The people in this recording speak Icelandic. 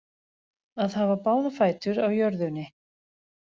Að hafa báða fætur á jörðunni